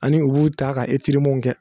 Ani u b'u ta ka etiremanw kɛ